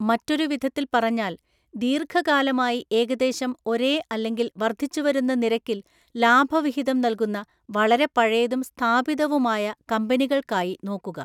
മറ്റൊരു വിധത്തിൽ പറഞ്ഞാൽ, ദീർഘകാലമായി ഏകദേശം ഒരേ അല്ലെങ്കിൽ വർദ്ധിച്ചുവരുന്ന നിരക്കിൽ ലാഭവിഹിതം നൽകുന്ന വളരെ പഴയതും സ്ഥാപിതവുമായ കമ്പനികൾക്കായി നോക്കുക.